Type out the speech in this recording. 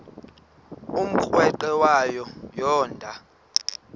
umrweqe wayo yoonda